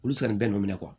Olu sanni bɛ nɔ